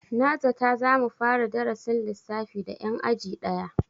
Na zata za mu fara darasin lissafi da 'yan aji daya.